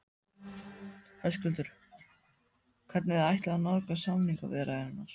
Höskuldur: Hvernig þið ætluðuð að nálgast samningaviðræðurnar?